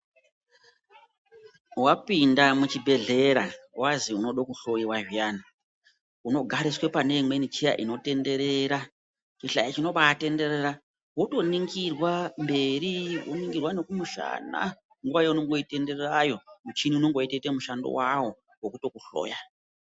Wapinda muchibhehleya wanzi unoda kuhloiwa zviyani unogariswa pane imweni cheya inotenderera chihlayo chinobatenderera wotoningirwa mberi woningirwa nekumushana nguwa yaunenge weitenderera muchini unenge uchitoite mushando wawo wekukuhloya.